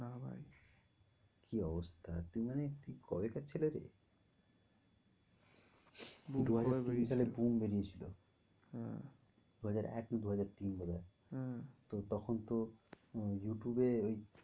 কি অবস্থা তুই মানে তুই কবে কার ছেলে রে? বেরিয়েছিল। হ্যাঁ দু হাজার এক কি দু হাজার তিন বোধ হয় আহ তখন তো উম ইউটিউবে ওই